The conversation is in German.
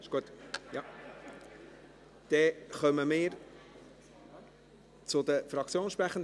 – Dann kommen wir zu den Fraktionssprechenden.